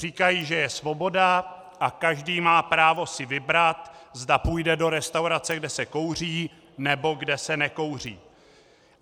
Říkají, že je svoboda a každý má právo si vybrat, zda půjde do restaurace, kde se kouří, nebo kde se nekouří.